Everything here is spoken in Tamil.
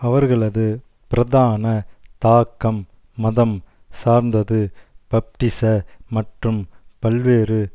அவர்களது பிரதான தாக்கம் மதம் சார்ந்தது பப்டிஸ மற்றும் பல்வேறு